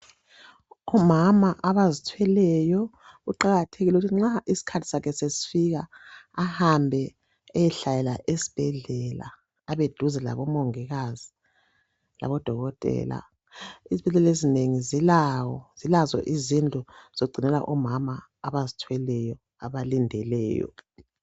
Omama abazithweleyo kuqakathekile ukuthi nxa isikhathi sakhe sesifika ahambe ayehlalela esibhedlela, abeduze labomongikazi, labodokotela. Izibhedlela ezinengi zilazo izindlu zokugcina omama abazithwelayo abalindeleyo.